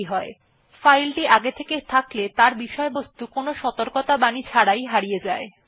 যদি সেটির অস্তিত্ব আগে থেকেই থাকে তাহলে উপস্থিত বিষয়বস্তু সাধারণত কোন সতর্কত়াবাণী ছাড়াই হারিয়ে যায়